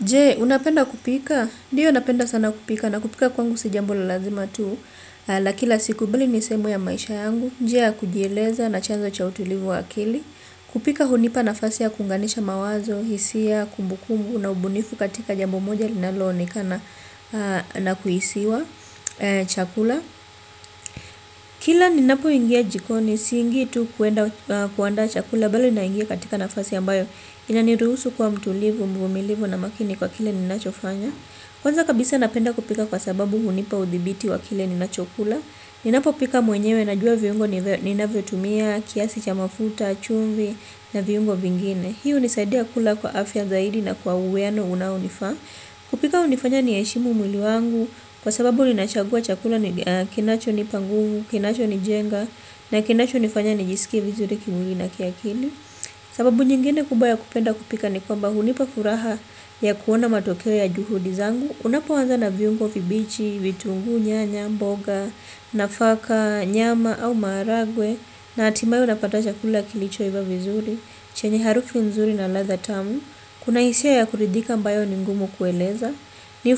Jee, unapenda kupika? Ndiyo unapenda sana kupika. Nakupika kwangu si jambo la lazima tu. La kila siku beli ni sehemu ya maisha yangu. NJia, kujieleza, nachanzo cha utulivu wa akili. Kupika hunipa nafasi ya kunganisha mawazo, hisia, kumbu kumbu, na ubunifu katika jambo moja linalo onekana na kuhisiwa chakula. Kila ninapo ingia jikoni, siingi tu kuenda kuandaa chakula, ya bali naingia katika nafasi ambayo. Inaniruhusu kuwa mtulivu, mvumilivu na makini kwa kile ninachofanya. Kwanza kabisa napenda kupika kwa sababu hunipa udhibiti wa kile ninachokula. Ninapo pika mwenyewe na jua viungo ninavyotumia, kiasi cha mafuta, chumvi na viungo vingine hi unisaidia kula kwa afya zaidi na kwa uwiano unao nifaa. Kupika unifanya ni heshimu mwili wangu. Kwa sababu ninachagua chakula kinacho ni pa nguvu, kinacho ni jenga na kinacho nifanya ni jisikie vizuri kimwili na kiakili sababu nyingine kubwa ya kupenda kupika ni kwamba hunipa furaha ya kuona matokeo ya juhudi zangu unapoanza na viungo vibichi, vitungu, nyanya, mboga, nafaka, nyama au maragwe na atimaye unapata chakula kilicho iva vizuri, chenye harufu nzuri na ladha tamu kuna hisia ya kuridhika ambayo ni ngumu kueleza ni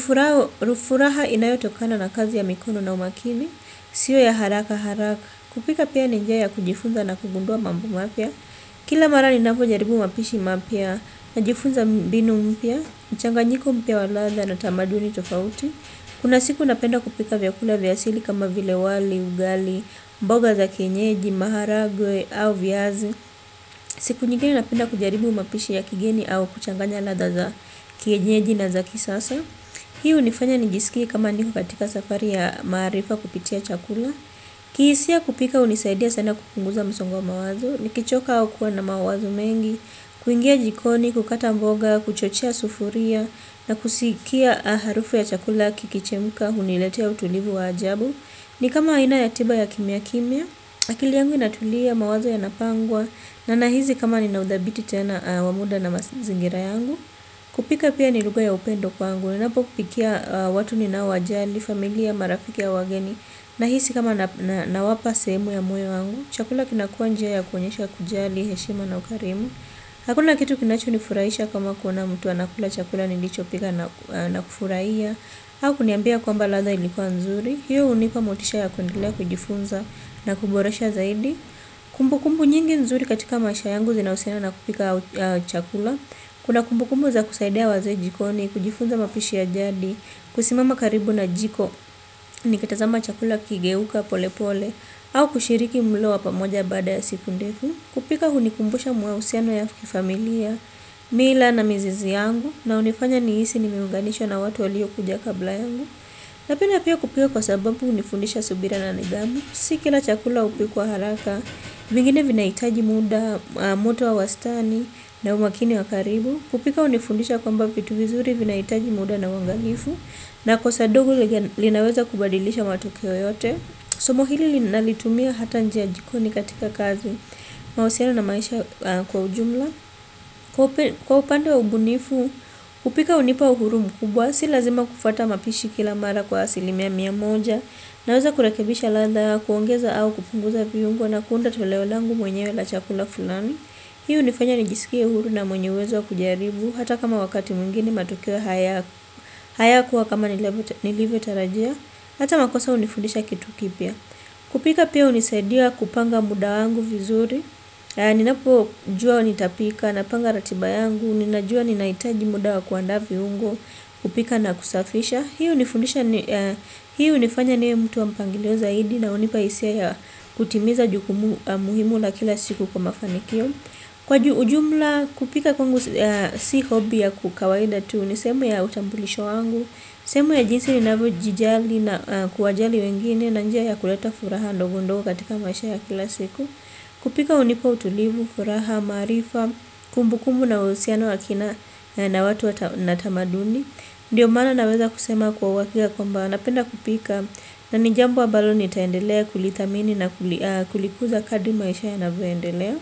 furaha inayotokana na kazi ya mikono na umakini sio ya haraka haraka kupika pia ni njia ya kujifunza na kugundua mambo mapya. Kila mara ninapo jaribu mapishi mapya na jifunza binu mpya, mchanganyiko mpya wa latha na tamaduni tofauti. Kuna siku napenda kupika vyakula vya asili kama vile wali, ugali, mboga za kienyeji, maharagwe au viazi. Siku nyingene napenda kujaribu mapishi ya kigeni au kuchanganya latha za kienyeji na za kisasa. Hii unifanya nijisikie kama niko katika safari ya maarifa kupitia chakula. Kihisia kupika unisaidia sana kupunguza msongo wa mawazo. Nikichoka au kuwa na mawazo mengi kuingia jikoni, kukata mboga, kuchochea sufuria na kusikia harufu ya chakula kikichemuka. Huniletea utulivu wa ajabu. Ni kama aina ya tiba ya kimya kimya. Akili yangu inatulia mawazo ya napangwa na nahizi kama ninaudhabiti tena wa muda na mazingira yangu. Kupika pia ni luga ya upendo kwangu. Ninapo kupikia watu ninao wajali, familia, marafiki ya wageni. Nahisi kama nawapa sehemu ya moyo wangu. Chakula kinakua njia ya koenyesha kujali, heshima na ukarimu. Hakuna kitu kinacho nifuraisha kama kuona mtu anakula chakula nilicho pika na kufuraiya au kuniambia kwamba latha ilikuwa nzuri. Hiyo unipa motisha ya kuendelea kujifunza na kuboresha zaidi. Kumbu kumbu nyingi nzuri katika maisha yangu zinausiana na kupika chakula. Kuna kumbu kumbu za kusaidia waze jikoni, kujifunza mapishi ya jadi. Kusimama karibu na jiko ni kitazama chakula ikigeuka pole pole au kushiriki mlo wa pamoja baada ya siku ndefu kupika hunikumbusha mahusiano ya kifamilia mila na mizizi yangu na unifanya nihisi ni meunganishwa na watu walio kuja kabla yangu napenda pia kupika kwa sababu unifundisha subira na nidhamu si kila chakula upikuwa haraka vingine vina itaji muda moto wa wastani na umakini wa karibu kupika unifundisha kwamba vitu vizuri vina itaji muda na uangalifu na kosa dogo linaweza kubadilisha matokeo yote. Somo hili nalitumia hata nje jikoni katika kazi. Mahusiana na maisha kwa ujumla. Kwa upande wa ubunifu upika hunipa uhuru mkubwa. Si lazima kufata mapishi kila mara kwa asilimia mia moja. Naweza kurekebisha latha. Kuongeza au kupunguza viungo na kuunda tuleo langu mwenyewe la chakula fulani. Hi unifanya nijisikie uhuru na mwenye uwezo wa kujaribu. Hata kama wakati mwingine matokeo haya haya kuwa kama nilivyo tarajia ata makosa unifundisha kitu kipya kupika pia unisaidia kupanga muda wangu vizuri ninapo jua nitapika napanga ratiba yangu ninajua ninaitaji muda wakuandaa viungo kupika na kusafisha hii unifundisha hii unifanya ni mtu wa mpangilio zaidi na unipa hisia ya kutimiza juku muhimu la kila siku kwa mafanikio kwa ujumla kupika kwangu si hobby ya kawaida tu ni sehemu ya utambulisho wangu sehemu ya jinsi ninavyo jijali na kuwajali wengine na njia ya kuleta furaha ndogo ndogo katika maisha ya kila siku kupika unipa utulivu furaha, maarifa kumbu kumbu na uhusiano wa kina na watu wa tamaduni ndiyo maana naweza kusema kwa uwakika kwamba napenda kupika na nijambo ambalo nitaendelea kulithamini na kulikuza kadri maisha yanavyoendelea.